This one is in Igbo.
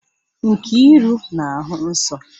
Nkiru na-ahụ nsọ?